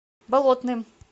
болотным